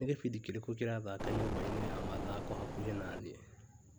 Nĩ gĩbindi kĩrĩkũ kĩrathaka nyũmba-inĩ ya mathako hakuhĩ naniĩ ?